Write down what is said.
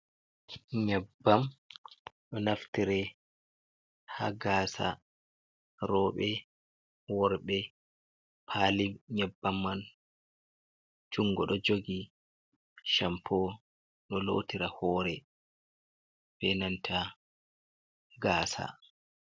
Nyebbam ɗo naftire ha gasa, rooɓe, worɓe, pali nyebbam man jungo ɗo jogi, shampo ɗo lotira hore be nanta gasa.